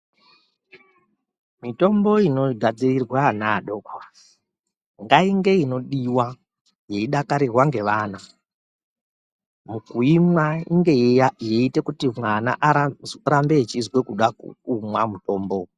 Mitombo inogadzirirwa vana adoko ngainge inodiwa idakarirwe nevana mukuimwa mwana arambe eizwa kuda kumwa mutombo .